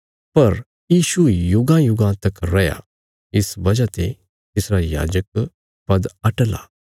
पर यीशु युगांयुगां तक रैयां इस वजह ने तिसरा याजक पद अटल आ